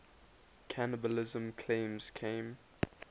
cannibalism claims came